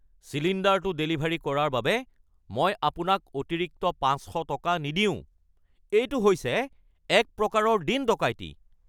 চিলিণ্ডাৰটো ডেলিভাৰী কৰাৰ বাবে মই আপোনাক অতিৰিক্ত ৫০০ টকা নিদিওঁ। এইটো হৈছে একপ্ৰকাৰৰ দিন-ডকাইতি!